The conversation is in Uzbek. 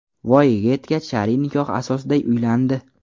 Voyaga yetgach, shar’iy nikoh asosida uylandi.